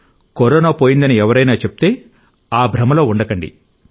corona పోయిందని ఎవరైనా చెబితే ఆ భ్రమలో ఉండకండి